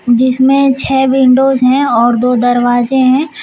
जिसमे छः विंडोज है और दो दरवाजे है।